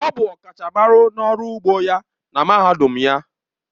Ọ bụ ọkachamara n'ọrụ ugbo ya na mahadum ya.